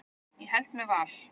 Ég held með Val.